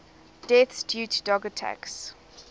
deaths due to dog attacks